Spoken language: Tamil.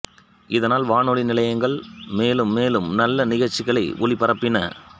இதனால் வானொலி நிலையங்கள் மேலும் மேலும் நல்ல நிகழ்ச்சிகளை ஒலிபரப்பின